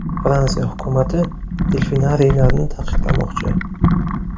Fransiya hukumati delfinariylarni taqiqlamoqchi.